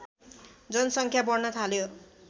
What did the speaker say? जनसङ्ख्या बढ्न थाल्यो